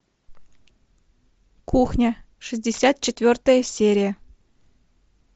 кухня шестьдесят четвертая серия